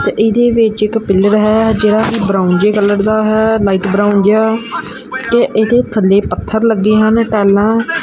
ਔਰ ਇਹਦੇ ਵਿੱਚ ਇੱਕ ਪਿੱਲਰ ਹੈ ਜਿਹੜਾ ਕਿ ਬਰਾਊਨ ਜਿਹੇ ਕਲਰ ਦਾ ਹੈ ਲਾਈਟ ਬਰਾਊਨ ਜਿਹਾ ਤੇ ਇਹਦੇ ਥੱਲੇ ਪੱਥਰ ਲੱਗੇ ਹਨ ਟਾਈਲਾਂ --